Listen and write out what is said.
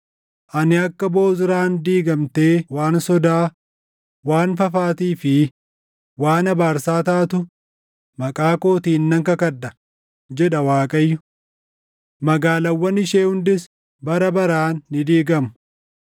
Ani akka Bozraan diigamtee waan sodaa, waan fafaatii fi waan abaarsaa taatu maqaa kootiin nan kakadha” jedha Waaqayyo. “Magaalaawwan ishee hundis bara baraan ni diigamu.”